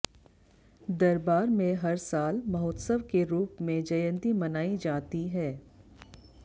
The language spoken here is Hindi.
दरबार में हर साल महोत्सव के रूप में जयंती मनाई जाती है